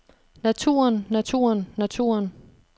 naturen naturen naturen